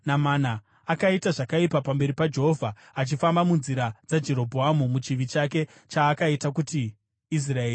Akaita zvakaipa pamberi paJehovha, achifamba munzira dzaJerobhoamu nomuchivi chake, chaakaita kuti Israeri iite.